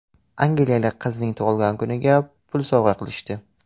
Angliyalik qizning tug‘ilgan kuniga pul sovg‘a qilishdi.